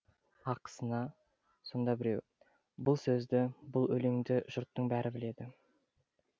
ақысына сонда біреу бұл сөзді бұл өлеңді жұрттың бәрі біледі